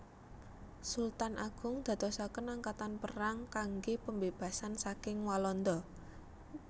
Sultan Agung dadosaken angkatan perang kangge pambebasan saking Walanda